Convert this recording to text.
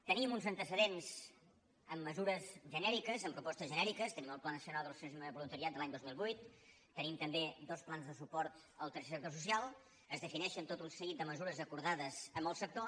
tenim uns antecedents amb mesures genèriques amb propostes genèriques tenim el pla nacional de l’associacionisme i el voluntariat de l’any dos mil vuit tenim també dos plans de suport al tercer sector social es defineixen tot un seguit de mesures acordades amb el sector